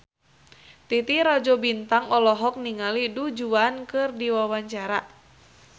Titi Rajo Bintang olohok ningali Du Juan keur diwawancara